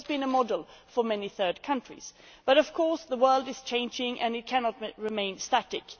It has been a model for many third countries, but of course the world is changing and it cannot remain static.